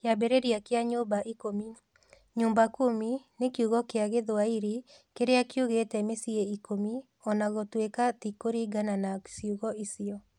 Kĩambĩrĩria kĩa nyũmba ikũmi: 'Nyumba Kumi' nĩ kiugo gĩa Gĩthwaĩri kĩrĩa kiugĩte mĩciĩ ikũmi, o na gũtuĩka ti kũringana na ciugo icio.